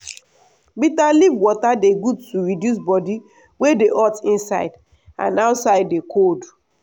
bitter leaf water dey good to reduce body wey dey hot inside and outside dey cold.